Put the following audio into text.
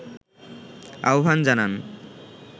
আহ্বান জানান